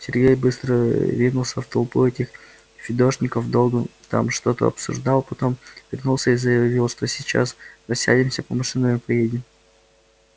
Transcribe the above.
сергей быстро ринулся в толпу этих фидошников долго там что-то обсуждал потом вернулся и заявил что сейчас рассядемся по машинам и поедем